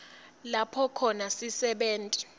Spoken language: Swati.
lapho khona sisebenti